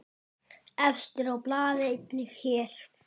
Efstur á blaði einnig hér.